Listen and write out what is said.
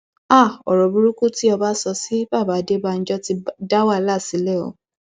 háà ọrọ burúkú tí ọba sọ sí baba adébànjọ ti dá wàhálà sílẹ o